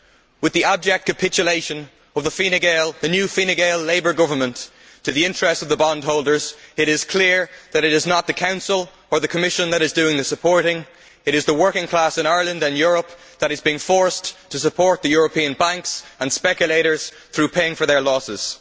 With the abject capitulation of the new Fine Gael Labour Government to the interests of the bondholders, it is clear that it is not the Council or the Commission that are doing the supporting, but it is the working class in Ireland and in Europe, which is being forced to support European banks and speculators through paying for their losses.